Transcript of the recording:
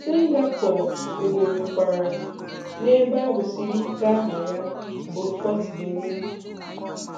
Singapore wuberekwara um ebe a wusiri ike aha ya bụ "Fort De Nick".